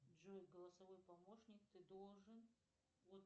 джой голосовой помощник ты должен